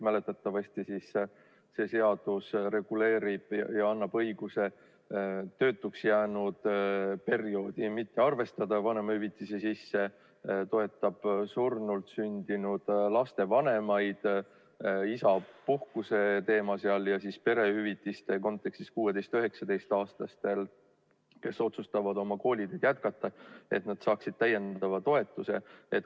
Mäletatavasti see seadus reguleerib ja annab õiguse töötuks jäänud perioodi vanemahüvitise sisse mitte arvestada, toetab surnult sündinud laste vanemaid, isapuhkuse teema oli seal, ja perehüvitiste kontekstis 16–19‑aastased, kes otsustavad oma kooliteed jätkata, saaksid täiendava toetuse.